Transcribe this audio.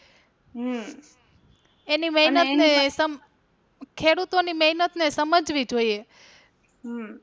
હમ ખેડૂતો ની મહેનત ને સમજાવી જોઈએ હમ